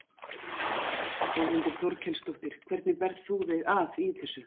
Þórhildur Þorkelsdóttir: Hvernig berð þú þig að í þessu?